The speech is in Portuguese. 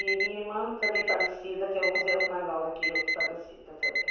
E minha irmã também falecida, que é onze anos mais nova que eu, que falecida também.